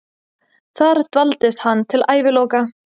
Þar dvaldist hann til æviloka.